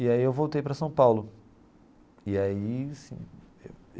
E aí eu voltei para São Paulo e aí assim.